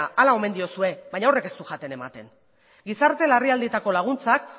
hala omen diozue baina ez du jaten ematen gizarte larrialdietarako laguntzak